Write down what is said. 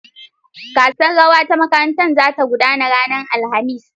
The School's Dancing competition is coming up on Thursday.